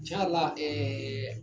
Cɛn yɛrɛ la ɛɛ